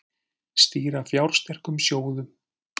Stýra fjársterkum sjóðum